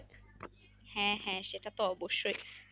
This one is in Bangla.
হ্যাঁ হ্যাঁ সেটা তো অবশ্যই